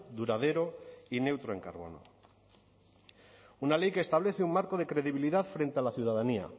duradero y neutro en carbono una ley que establece un marco de credibilidad frente a la ciudadanía